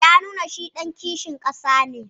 Ya nuna shi ɗan kishin ƙasa ne.